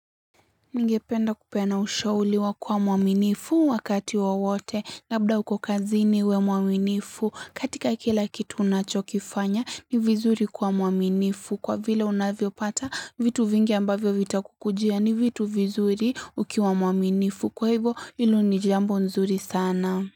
Ningependa kupeana ushauri wa kuwa mwaminifu wakati wowote labda uko kazini uwe mwaminifu katika kila kitu unachokifanya ni vizuri kuwa mwaminifu kwa vile unavyo pata vitu vingi ambavyo vita kukujia ni vitu vizuri ukiwa mwaminifu kwa hivo hilo ni jambo nzuri sana.